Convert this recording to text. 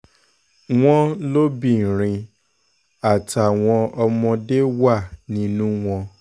wọ́n lóbìnrin àtàwọn ọmọdé wà nínú wọn